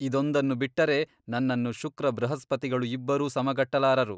ಇದೊಂದನ್ನು ಬಿಟ್ಟರೆ ನನ್ನನ್ನು ಶುಕ್ರ ಬೃಹಸ್ಪತಿಗಳು ಇಬ್ಬರೂ ಸಮಗಟ್ಟಲಾರರು.